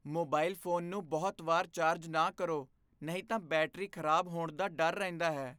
Mobile phone ਨੂੰ ਬਹੁਤ ਵਾਰ ਚਾਰਜ ਨਾ ਕਰੋ ਨਹੀਂ ਤਾਂ ਬੈਟਰੀ ਖ਼ਰਾਬ ਹੋਣ ਦਾ ਡਰ ਰਹਿੰਦਾ ਹੈ।